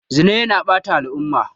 Zina yana ɓata al'umma.